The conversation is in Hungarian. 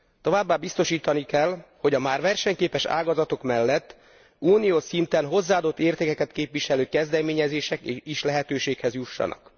Továbbá biztosítani kell, hogy a már versenyképes ágazatok mellett uniós szinten hozzáadott értékeket képviselő kezdeményezések is lehetőséghez juthassanak.